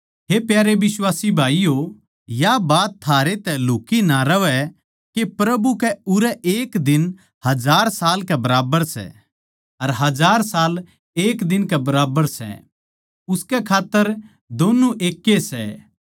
हे प्यारे बिश्वासी भाईयो या बात थारै तै लुक्ही ना रहवै के प्रभु कै उरै एक दिन हजार साल कै बराबर सै अर हजार साल एक दिन कै बराबर सै उसकै खात्तर दोन्नु एक्के सै